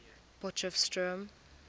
potchefstroom